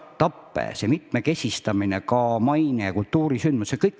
Nii et on selline mitmekesistamine, samuti mainekujundus ja kultuurisündmused.